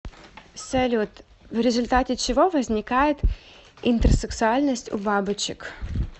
салют в результате чего возникает интерсексуальность у бабочек